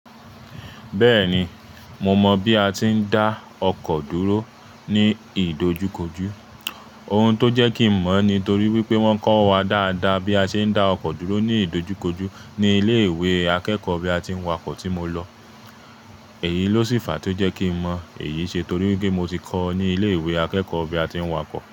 Bẹ́ẹ̀ni, mo mọ bí a ti ń dá ọkọ̀ dúró ní ìdojúkojú. Ohun tó jẹ́ kí n mọ̀ ni torí wípé wón kọ́ wa dáadáa bí a ṣe ń dá ọkọ̀ dúró ní ìdojúkojú ní ilé ìwé akẹ́kọ̀ọ́ bí a ti ń wa kọ́ tí mo lọ. Èyí ló ṣì fàá tó jẹ́ kí n mọ èyí ṣe torí wípé mo ti kọ́ ní ilé ìwé akẹ́kọ̀ọ́ bí a ti ń wa kọ́.